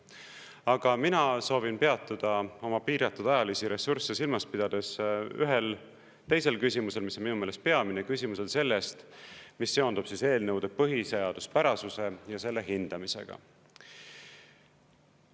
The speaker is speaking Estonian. Aga mina soovin peatuda oma piiratud ajalisi ressursse silmas pidades ühel teisel küsimusel, mis minu meelest peamine küsimus on sellest, mis seondub eelnõude põhiseaduspärasuse ja selle hindamisega.